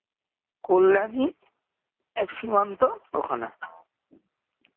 কল্যানী সীমান্ত ওখানে